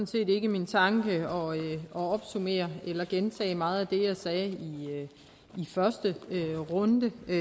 set ikke min tanke at opsummere eller gentage meget af det jeg sagde i første runde men